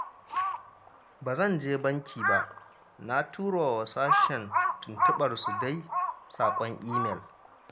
Ba zan je banki ba, na tura wa sashen tuntuɓarsu dai saƙon imel